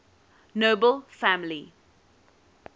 nobel family